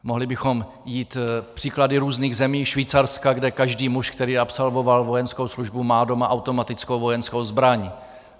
Mohli bychom jít příklady různých zemí, Švýcarska, kde každý muž, který absolvoval vojenskou službu, má doma automatickou vojenskou zbraň.